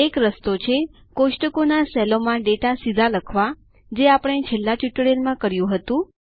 એક રસ્તો છે કોષ્ટકોના સેલો માં ડેટા સીધા લખવા જે આપણે છેલ્લા ટ્યુટોરીયલમાં કર્યું હતું